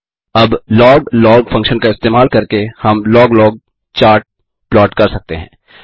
अब loglog function का इस्तेमाल करके हम लॉग लॉग चार्ट प्लॉट कर सकते हैं